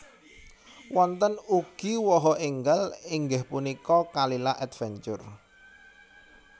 Wonten ugi waha enggal inggih punika Kalila Adventure